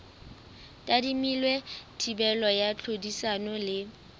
tadimilwe thibelo ya tlhodisano le